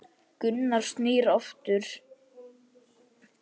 Gunnar snýr aftur.